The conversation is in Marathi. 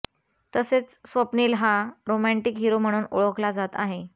तसेच स्वप्नील हा रोमँटिक हिरो म्हणून ओळखला जात आहे